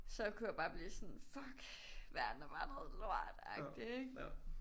Så kunne jeg bare blive sådan fuck verden er bare noget lort agtig ikke?